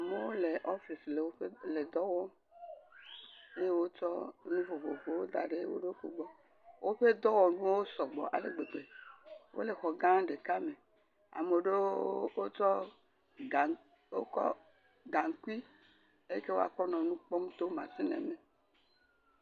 Amewo le ɔfisi le woƒe le dɔ wɔm, eye wotsɔ nu vovovowo da ɖe wo ɖokuiwo gbɔ, woƒe dɔwɔnuwo sɔgbɔ ale gbegbe. Wole xɔ gã ɖeka me. Ame ɖewo wo wotsɔ gaŋkui eyi ke wokɔ nɔ nu kpɔm to mashinie me.